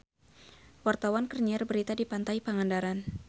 Wartawan keur nyiar berita di Pantai Pangandaran